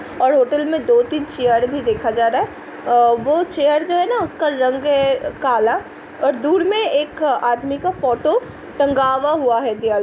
और होटल में दो तीन चेयर भी देखा जा रहा है और वो चेयर जो है ना उसका रंग है काला और दूर में एक आदमी का फ़ोटो टँगावा हुआ है दीवाल --